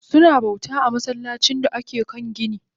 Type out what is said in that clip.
Suna bauta a masallacin da ake kan gini